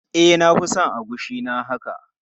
E, na fi son agushi na haka.